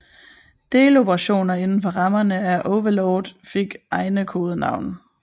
Deloperationer indenfor rammerne af Overlord fik egne kodenavne